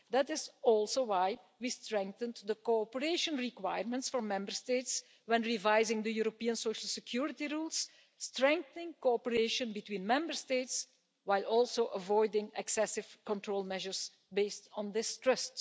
That is also why we strengthened the cooperation requirements for Member States when revising the European social security rules, strengthening cooperation between Member States while also avoiding excessive control measures based on distrust.